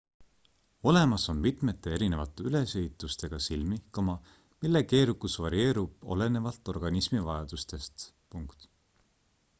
olemas on mitmete erinevate ülesehitustega silmi mille keerukus varieerub olenevalt organismi vajadustest